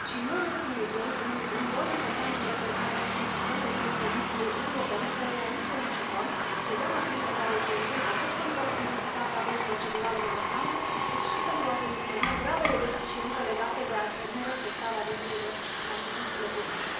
Nu în ultimul rând, un rol important în reformarea acestui sistem revine Comisiei Europene, căreia îi solicităm să ia măsurile care se impun, atât pentru a simplifica cadrul procedural în ansamblu, cât și pentru a soluționa gravele deficiențe legate de nerespectarea regulilor în achizițiile publice.